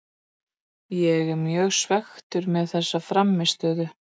Ég er mjög svekktur með þessa frammistöðu.